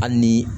Hali ni